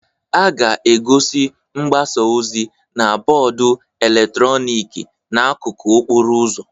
A ga-egosi mgbasa ozi na bọọdụ eletrọnịkị n'akụkụ okporo ụzọ